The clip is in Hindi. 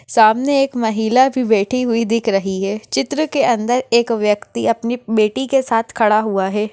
सामने एक महिला भी बैठी हुई दिख रही है चित्र के अंदर एक व्यक्ति अपनी बैटी के साथ खड़ा हुआ है।